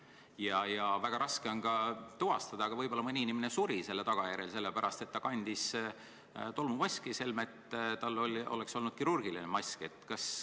Ja seda on küll väga raske tuvastada, aga võib-olla mõni inimene suri selle tagajärjel, et kandis tolmumaski, mitte kirurgilist maski.